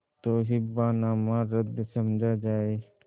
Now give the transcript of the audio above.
तो हिब्बानामा रद्द समझा जाय